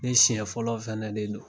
Ne siɲɛ fɔlɔ fɛn de don.